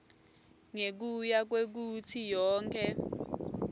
ngekuya kwekutsi yonkhe